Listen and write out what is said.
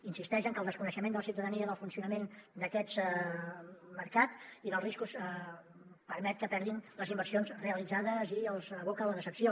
insisteix en que el desconeixement de la ciutadania del funcionament d’aquest mercat i dels riscos permet que perdin les inversions realitzades i els aboca a la decepció